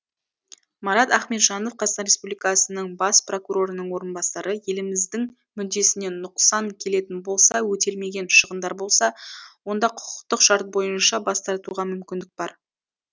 марат ахметжанов қазақстан республикасының бас прокурорының орынбасары еліміздің мүддесіне нұқсан келетін болса өтелмеген шығындар болса онда құқықтық шарт бойынша бас тартуға мүмкіндік бар